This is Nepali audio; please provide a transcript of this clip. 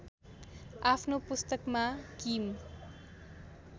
आफ्नो पुस्तकमा किम